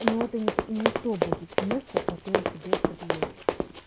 но это не то будет место которое тебе предложат